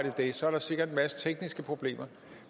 i det så er der sikkert en masse tekniske problemer